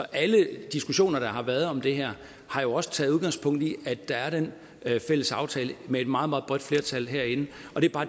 alle diskussioner der har været om det her har jo også taget udgangspunkt i at der er den fælles aftale med et meget meget bredt flertal herinde